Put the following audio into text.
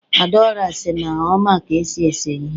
adaora si na o ma ka esi ese ihe